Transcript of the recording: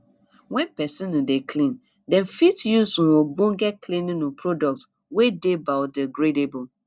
when person um dey clean dem fit use um ogbonge cleaning um product wey dey biodegradable